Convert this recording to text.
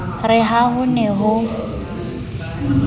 re ha ho ne ho